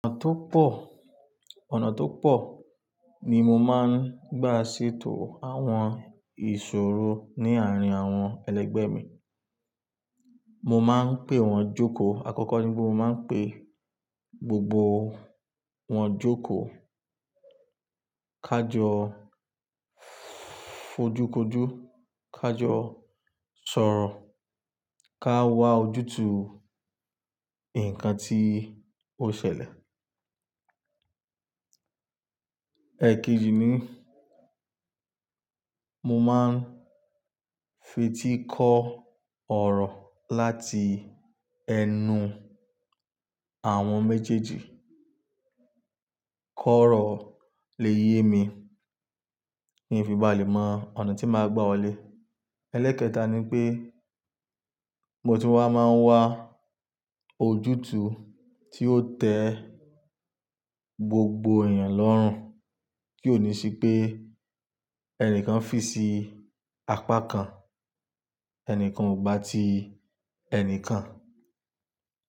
Ọ̀nà tó pọ̀, ọ̀nà tó pọ̀ ni mo máa ń gbà ṣètò àwọn ìṣòro ní àárín àwọn ẹlẹgbẹ́ mi. Mo máa ń pè wọ́n jókòó. Àkọ́kọ́ ni pé mo máa ń pè gbogbo wọ́n jókòó, ká jọ fójú kojú, ká jọ sọ̀rọ̀, ká wá ojútùú nǹkan tí ó ṣẹlẹ̀. Ẹ̀ kíji ní, mo máa ń fetí kọ ọ̀rọ̀ láti ẹnu àwọn méjèèjì. Kọ̀rọ̀ lè yé mi kí n fi bá lè mo ọ̀nà tí màá gbà wọlé. Ẹ́lẹ́kẹta ni pé, mo ti wá máa ń wá ojútùú tí ó tẹ gbogbo èèyàn lọ́rùn, kí ó ní sí pé ẹnìkan fi sí apá kan, ẹnìkan ò gbà ti ẹnìkan.